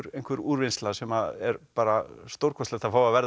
einhver úrvinnsla sem er bara stórkostlegt að fá að verða